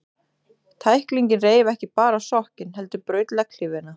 Tæklingin reif ekki bara sokkinn, heldur braut legghlífina.